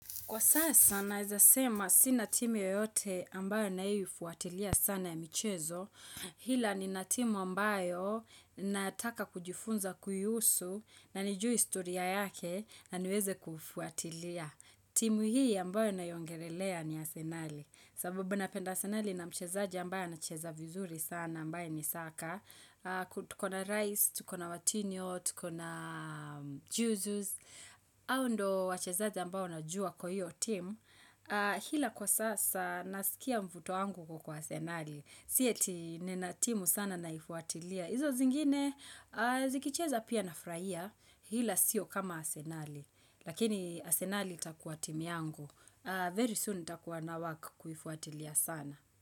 Kwa sasa naeza sema sina timu yoyote ambayo ninayoifuatilia sana ya michezo, ila nina timu ambayo nataka kujifunza kuyusu na niju istoria yake na niweze kufuatilia. Timu hii ambayo naiongelelea ni asenali sababu ninapenda asenali ni mchezaji ambayo na cheza vizuri sana ambaye ni saka. Tukona rice, tukona watinio, tukona juzuz, hao ndio wachezaji ambao najua kwa hiyo team Hila kwa sasa naskia mvuto wangu uko kwa asenali Sia ti nina timu sana naifuatilia Izo zingine zikicheza pia nafurahia Ila sio kama asenali Lakini asenali itakuwa timu yangu very soon nitakuwa na work kuifuatilia sana.